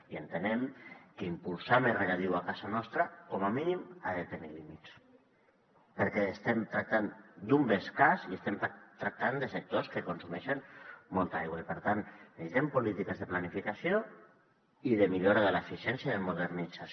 i entenem que impulsar més regadiu a casa nostra com a mínim ha de tenir límits perquè estem tractant d’un bé escàs i estem tractant de sectors que consumeixen molta aigua i per tant necessitem polítiques de planificació i de millora de l’eficiència i de modernització